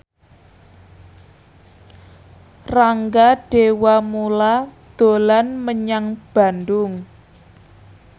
Rangga Dewamoela dolan menyang Bandung